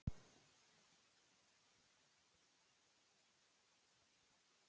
Það er ekki séns annað en hann ráðist á okkur af fullum þunga.